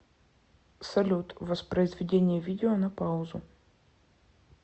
салют воспроизведение видео на паузу